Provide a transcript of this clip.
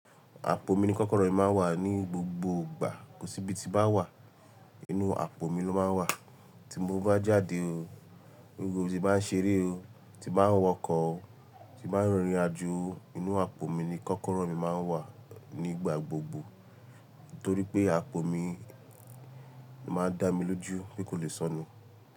Àpò mi ni kọ́kọ́rọ́ mi máa ń wà ní gbogbo ìgbà. Kò sí ibi tí bá wà, inú àpò mi ló máa ń wà, tí mo bá jáde o, nígbà tí bá ń ṣeré o, tí bá ń wọkọ̀ o, tí bá ń rìnrìnàjò o, inú àpò mi ni kọ́kọ́rọ́ mi máa ń wà nígbà gbogbo. Nítorí pé, àpò mi máa ń dá mi lójú pe kó lè sọnù.